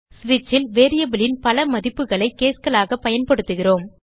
ஸ்விட்ச் ல் variableன் பல மதிப்புகளை caseகளாக பயன்படுத்துகிறோம்